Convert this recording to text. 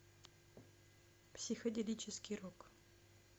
психоделический рок